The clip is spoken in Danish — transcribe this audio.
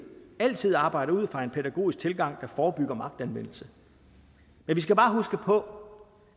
altid arbejde ud fra en pædagogisk tilgang der forebygger magtanvendelse men vi skal bare huske på